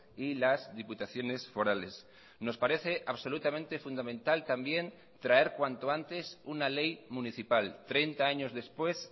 y las diputaciones forales nos parece absolutamente fundamental también traer cuanto antes una ley municipal treinta años después